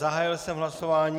Zahájil jsem hlasování.